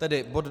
Tedy bod